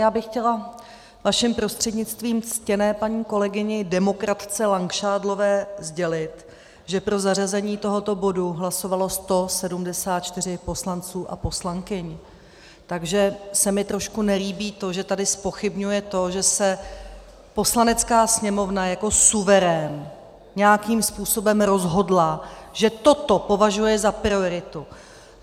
Já bych chtěla vaším prostřednictvím ctěné paní kolegyni demokratce Langšádlové sdělit, že pro zařazení tohoto bodu hlasovalo 174 poslanců a poslankyň, takže se mi trošku nelíbí to, že tady zpochybňuje to, že se Poslanecká sněmovna jako suverén nějakým způsobem rozhodla, že toto považuje za prioritu.